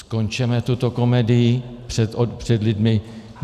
Skončeme tuto komedii před lidmi.